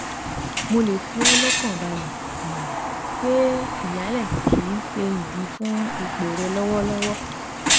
Mo le fi ọ́ lọ́kàn balẹ̀ um pé ìyálẹ̀ kì í ṣe idi fún ipò rẹ lọwọlọwọ